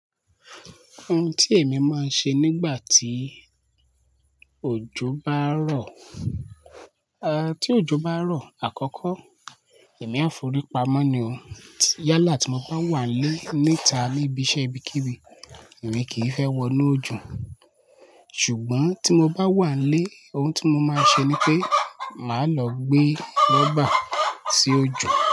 Ohun tí èmi máa ń ṣe nígbà tí òjò bá ń rọ̀, eh tí òjò bá ń rọ̀ àkọ́kọ́ èmi á forí pamọ́ ni o. Yálà tí mo bá wà nlé níta níbi iṣẹ́ ibikibi, èmi kì í fẹ́ wọnú òjò. Ṣùgbọ́n tí mo bá wà nlé, ohun tí mo máa ṣe ni pé màá lọ gbé rọ́bà sí ojò.